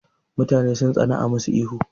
Mutane sun tsana a masu ihu